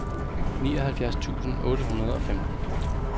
nioghalvfjerds tusind otte hundrede og femten